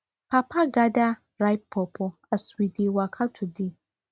papa gather ripe pawpaw as we dey waka today